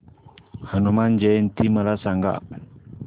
हनुमान जयंती मला सांगा